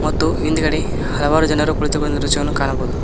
ಮತ್ತು ಹಿಂದ್ಗಡೆ ಹಲವಾರು ಜನರು ಕುಳಿತುಕೊಂಡಿರುವ ದೃಶ್ಯವನ್ನು ಕಾಣಬಹುದು.